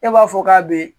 E b'a fɔ k'a be ye